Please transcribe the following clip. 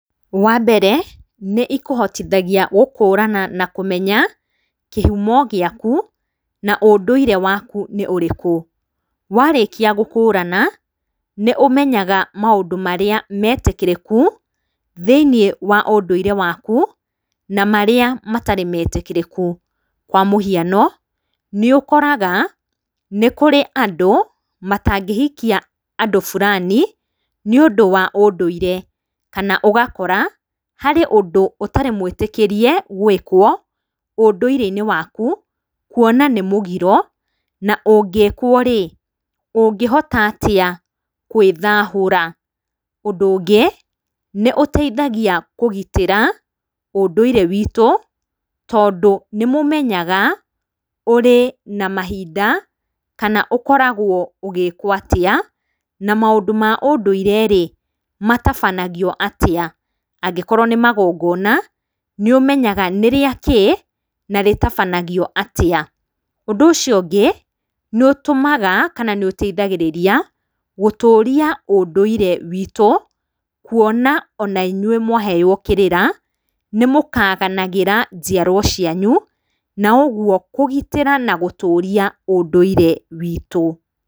Wambere nĩ ikũhotithagia gũkũrana na kũmenya kĩhumo gĩaku na ũndũire waku nĩ ũrĩkũ. Warĩkia gũkũrana, nĩ ũmenyaga maũndũ marĩa metĩkĩrĩku thĩiniĩ wa ũndũire waku, na marĩa matarĩ metikĩrĩku. Kwa mũhiano, nĩ ũkoraga nĩ kũrĩ andũ matangĩhikia andũ burani nĩ ũndũ wa ũndũire. Kana ũgakora harĩ ũndũ ũtarĩ mwĩtĩkĩrie gwĩkwo ũndũire-inĩ waku, kuona nĩ mũgiro na ũngĩkwo rĩ, ũngĩhota atĩa kwĩthahũra. Ũndũ ũngĩ, nĩ ũteithagia kũgitĩra ũndũire witũ, tondũ nĩ mũmenyaga ũrĩ na mahinda, kana ũkoragwo ũgĩĩkwo atĩa, na maũndũ ma ũndũire rĩ, matabanagio atĩa. Angĩkorwo nĩ magongona nĩ ũmenyaga nĩ rĩakĩĩ, na rĩtabanagio atĩa. Ũndũ ũcio ũngĩ, nĩ ũtũmaga, kana nĩ ũteithagĩrĩria gũtũuria ũndũire witũ. Kuona ona inyuĩ mwaheo kĩrĩra, nĩ mũkaganagĩra njiarwa cianyu. Na ũguo kũgitĩra na gũtũuria ũndũire witũ.